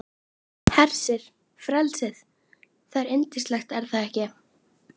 Hvað er þetta sem splundrar fjölskyldum?